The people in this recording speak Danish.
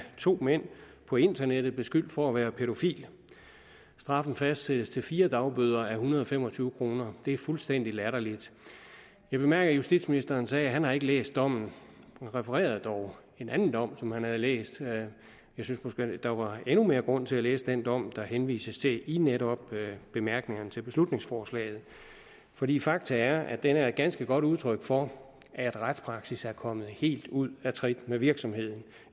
to mænd på internettet bliver beskyldt for at være pædofil straffen fastsættes til fire dagbøder a en hundrede og fem og tyve kroner det er fuldstændig latterligt jeg bemærkede at justitsministeren sagde at han ikke har læst dommen han refererede dog en anden dom som han havde læst jeg synes måske der var endnu mere grund til at læse den dom der henvises til i netop bemærkningerne til beslutningsforslaget fordi fakta er at den er et ganske godt udtryk for at retspraksis er kommet helt ude af trit med virkeligheden